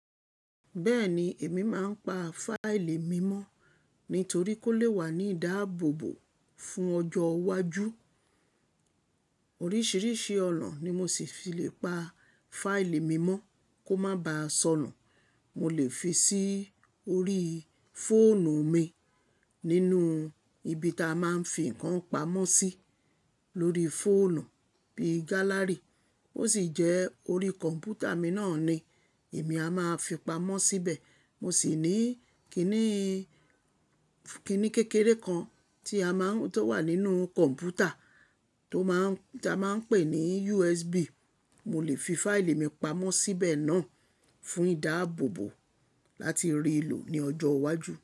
Bẹ́ẹ̀ni, èmi máa ń pa fáìlì mímọ́ nítorí kó lè wà ní ìdáàbòbò fún ọjọ́ iwájú. Oríṣiríṣi ọ̀nà ni mo sì fi lè pa fáìlì mímọ́ kó má baà sọnù. Mo lè fi sí orí fóònù mi nínú ibi ta a máa ń fi ǹkan pamọ́ sí lórí fóònù bí i gálárì. Ó sì jẹ́ orí kọ̀m̀pútà mi náà ni èmi a máa fi pamọ́ síbẹ̀. Mo sì ní kìnì, kìnì kékeré kan tí a máa ń, tó wà nínú kọ̀m̀pútà tó máa ń, tí a máa ń pè ní USB. Mo lè fi fáìlì mi pamọ́ síbẹ̀ náà fún ìdáàbòbò láti rí i lò ní ọjọ́ iwájú.